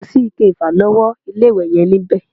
Kosi ike ìfàlọ́wọ́ ilé-ìwẹ̀ yẹn níbẹ̀